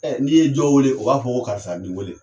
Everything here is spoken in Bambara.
Ɛ n'i ye dɔ wele o b'a fɔ ko karisa b'i wele.